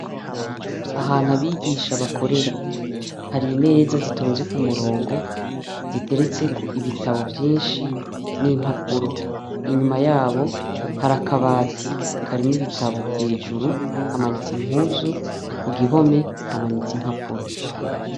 Ahantu abigisha bakorera, hari imeza zitonze kumurongo ziteretseko ibitabo vyinshi nimpapuro. Inyuma yabo hari akabati karimwo ibitabo hejuru ,hamanitse impuzu, kugihome hamanitse impapuro.